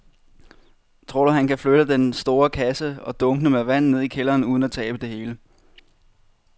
Tror du, at han kan flytte den store kasse og dunkene med vand ned i kælderen uden at tabe det hele?